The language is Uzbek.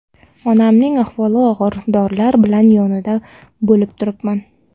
Onamning ahvoli og‘ir, dorilar bilan yonida bo‘lib turibman.